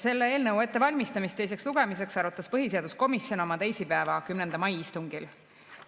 Selle eelnõu ettevalmistamist teiseks lugemiseks arutas põhiseaduskomisjon oma istungil teisipäeval, 10. mail.